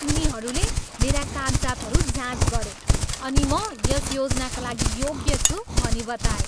उनीहरूले मेरा कागजातहरू जाँच गरे अनि म यस योजनाका लागि योग्य छु भनी बताए।